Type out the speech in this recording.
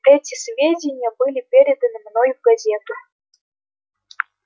эти сведения были переданы мной в газету